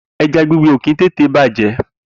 Eja Gbigbe òki tètè bajẹ